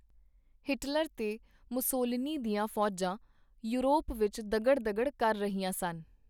Hitler ਤੇ Mussolini ਦੀਆਂ ਫੌਜਾਂ ਯੋਰਪ ਵਿਚ ਦਗੜ ਦਗੜ ਕਰ ਰਹੀਆਂ ਸਨ.